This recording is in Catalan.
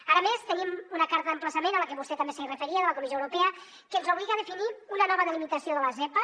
ara a més tenim una carta d’emplaçament a la que vostè també s’hi referia de la comissió europea que ens obliga a definir una nova delimitació de la zepa